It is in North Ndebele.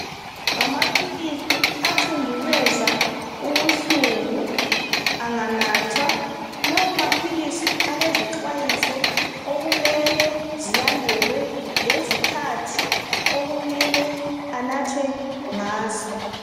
Ngamaphilisi athondubeza ubuhlungu anganathwa lawamaphilisi elezixhwayiso okumele zilandelwe lezikhathi okumele anathwe ngazo